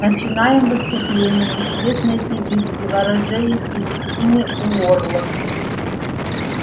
начинаем выступление известной певицы ворожеи селестины уорлок